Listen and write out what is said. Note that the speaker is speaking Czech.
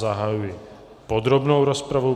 Zahajuji podrobnou rozpravu.